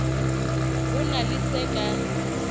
ho na le se ka